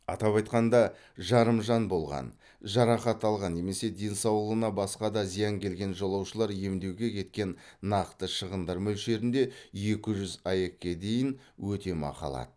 атап айтқанда жарымжан болған жарақат алған немесе денсаулығына басқа да зиян келген жолаушылар емдеуге кеткен нақты шығындар мөлшерінде екі жүз аек ке дейін өтемақы алады